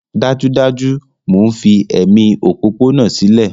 Dájúdájú! Mò ń fi ẹ̀mí òpópónà sílẹ̀